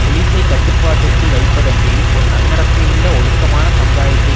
போலிசை கட்டுப்பாட்டுக்குள் வைப்பதன்றி ஒரு நன்னடத்தையுள்ள ஒழுக்கமான சமுதாயத்தை